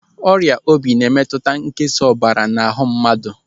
Ọrịa obi na-emetụta nkesa ọbara n'ahụ mmadụ.